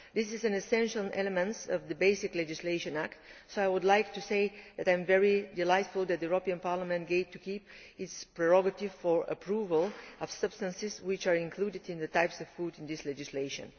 This is an essential element of the basic legislation, so I would like to say that I am delighted that the European Parliament will keep its prerogative for approval of substances which are included in the types of food in this legislation.